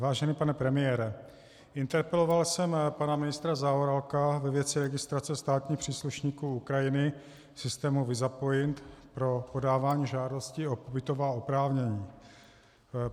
Vážený pane premiére, interpeloval jsem pana ministra Zaorálka ve věci registrace státních příslušníků Ukrajiny v systému Visapoint pro podávání žádostí o pobytová oprávnění.